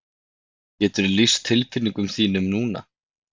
Geturðu lýst tilfinningum þínum núna?